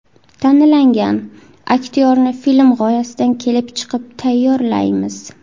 Tanlangan aktyorni film g‘oyasidan kelib chiqib tayyorlaymiz.